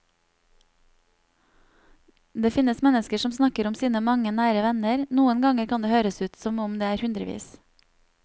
Det finnes mennesker som snakker om sine mange nære venner, noen ganger kan det høres ut som om det er hundrevis.